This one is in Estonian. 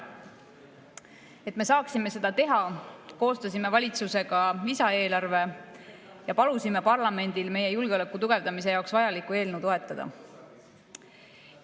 Et me saaksime seda teha, koostasime valitsusega lisaeelarve ja palusime parlamendil meie julgeoleku tugevdamise jaoks vajalikku eelnõu toetada.